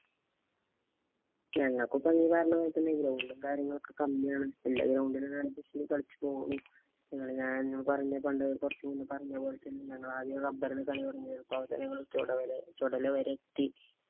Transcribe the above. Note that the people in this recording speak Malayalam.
ഞങ്ങക്കും നീ പറഞ്ഞപോലെ തന്നെ ground ഉം കാര്യങ്ങളും കമ്മിയാണ്. എല്ലാം ground ഇലും ഇതെ പോണക്ക് കളിച്ചു പോണു. ഞാന്‍ പണ്ട് കൊറച്ച് മുന്നേ പറഞ്ഞപോലെ ഞങ്ങള് ആദ്യം rubber ന് കളി തുടങ്ങിയത്. ഇപ്പൊ അവിടുന്ന് ചൊടല വരെ എത്തി.